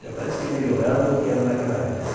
Até parece que melhoraram do que era naquela época.